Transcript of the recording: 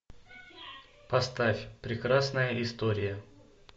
поставь прекрасная история